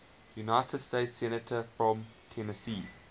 united states senators from tennessee